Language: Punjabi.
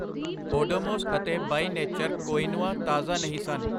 ਓਡੋਮੋਸ ਅਤੇ ਬਈ ਨੇਚਰ ਕੁਇਨੋਆ ਤਾਜ਼ਾ ਨਹੀਂ ਸਨ।